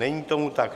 Není tomu tak.